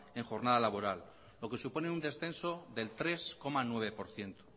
en jornada laboral lo que supone un descenso del tres coma nueve por ciento